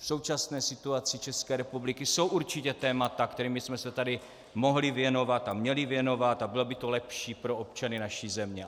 V současné situaci České republiky jsou určitě témata, kterým bychom se tady mohli věnovat a měli věnovat, a bylo by to lepší pro občany naší země.